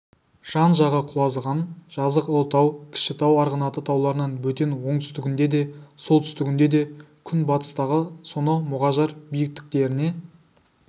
жан-жағы құлазыған жазық ұлытау кішітау арғынаты тауларынан бөтен оңтүстігінде де солтүстігінде де күнбатыстағы сонау мұғажар биіктіктеріне